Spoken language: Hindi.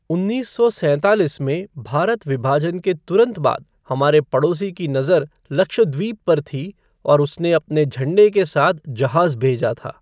उन्नीस सौ सैंतालीस में भारत विभाजन के तुरंत बाद हमारे पड़ोसी की नज़र लक्षद्वीप पर थी और उसने अपने झंडे के साथ जहाज भेजा था।